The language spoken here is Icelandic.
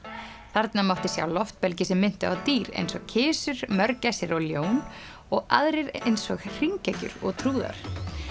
þarna mátti sjá loftbelgi sem minntu á dýr eins og kisur mörgæsir og ljón og aðrir eins og hringekjur og trúðar